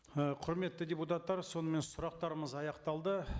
ы құрметті депутаттар сонымен сұрақтарымыз аяқталды